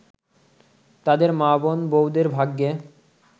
তাদের মা-বোন-বউদের ভাগ্যে